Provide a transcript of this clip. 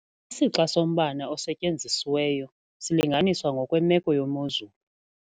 Isixa sombane osetyenzisiweyo silinganiswa ngokwemeko yemozulu.